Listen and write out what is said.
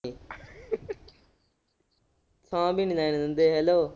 ਸਾਹ ਵੀ ਨੀ ਲੈਣ ਦਿੰਦੇ hello